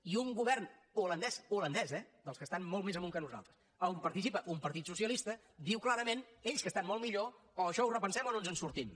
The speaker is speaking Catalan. i un govern holandès holandès eh dels que estan molt més amunt que nosaltres on participa un partit socialista diu clarament ells que estan molt millor això ho repensem o no ens en sortim